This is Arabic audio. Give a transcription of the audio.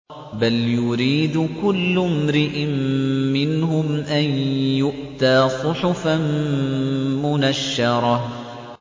بَلْ يُرِيدُ كُلُّ امْرِئٍ مِّنْهُمْ أَن يُؤْتَىٰ صُحُفًا مُّنَشَّرَةً